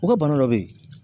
U ka bana dɔ be yen